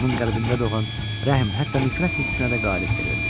Onun qəlbində doğan rəhm, hətta nifrət hissinə də qalib gəlirdi.